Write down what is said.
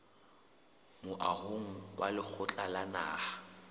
moahong wa lekgotla la naha